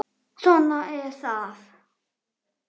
En svona er það.